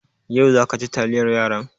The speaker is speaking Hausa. Yau za ka ci taliyar yaran?